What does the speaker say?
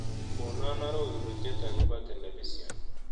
Konon arorutiet agobo telepision